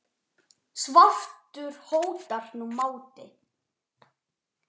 svartur hótar nú máti.